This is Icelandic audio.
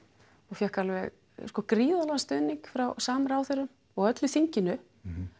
ég fékk alveg gríðarlegan stuðning frá samráðherrum og öllu þinginu